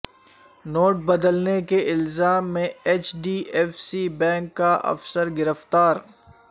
note بدلنے کے الزام میں H D F C bank کا افسر گرفتار